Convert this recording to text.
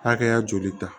Hakɛya joli ta